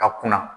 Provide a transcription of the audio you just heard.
Ka kunna